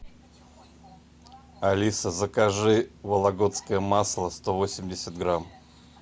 алиса закажи вологодское масло сто восемьдесят грамм